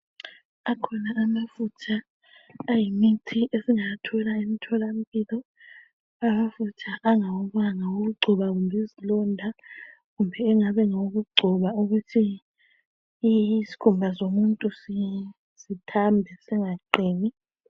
Akhona amafutha ayimithi esingawathola emtholampilo. Amafutha angawomanga okugcoba kumbe izilonda kumbe engaba ngawokugcoba ukuthi isikhumba somuntu sithambe singaqini.